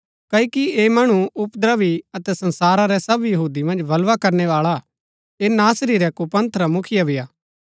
क्ओकि ऐह मणु उपद्रवी अतै संसारा रै सव यहूदी मन्ज बलवा कराणैवाळा हा ऐह नासरी रै कुपंथ रा मुखिया भी हा